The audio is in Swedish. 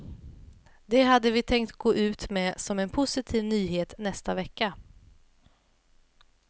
Det hade vi tänkt gå ut med som en positiv nyhet nästa vecka.